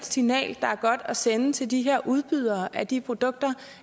signal at sende til de her udbydere af de produkter